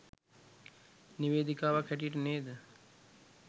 නිවේදිකාවක් හැටියට නේද